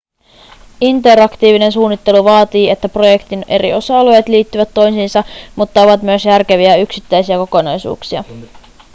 interaktiivinen suunnittelu vaatii että projektin eri osa-alueet liittyvät toisiinsa mutta ovat myös järkeviä yksittäisiä kokonaisuuksia